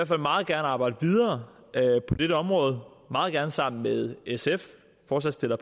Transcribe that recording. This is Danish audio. fald meget gerne arbejde videre på dette område meget gerne sammen med sf forslagsstillere